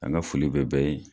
An ka foli bɛ bɛɛ ye.